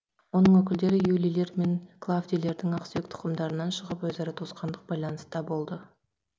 оның өкілдері юлийлер мен клавдийлердің ақсүйек тұқымдарынан шығып өзара туысқандық байланыста болды